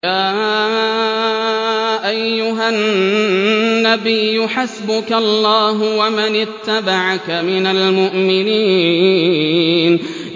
يَا أَيُّهَا النَّبِيُّ حَسْبُكَ اللَّهُ وَمَنِ اتَّبَعَكَ مِنَ الْمُؤْمِنِينَ